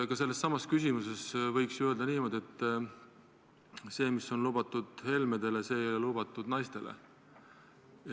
Ka sellesama küsimuse puhul võiks ju öelda niimoodi, et see, mis on lubatud Helmetele, ei ole lubatud naistele.